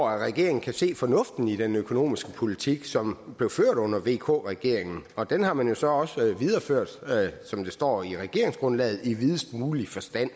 at regeringen kan se fornuften i den økonomiske politik som blev ført under vk regeringen og den har man så også videreført som det står i regeringsgrundlaget i videst mulig forstand